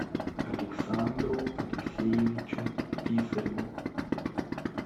александру алексеевичу писареву